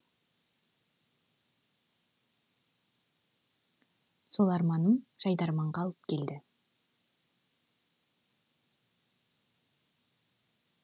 сол арманым жайдарманға алып келді